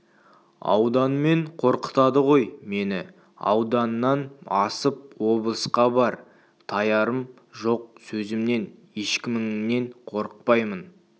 ауданмен қорқытады ғой мені ауданнан асып облысқа бар таярым жоқ сөзімнен ешкіміңнен қорықпаймын